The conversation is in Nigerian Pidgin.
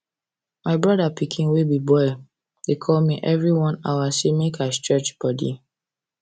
my brother pikin wey be boy dey call me every one hour say make i stretch body